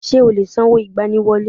Ṣé o lè san owó ìgbani wọlé?